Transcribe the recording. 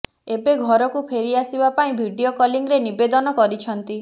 ଏବେ ଘରକୁ ଫେରିଆସିବା ପାଇଁ ଭିଡିଓ କଲିଂରେ ନିବେଦନ କରିଛନ୍ତି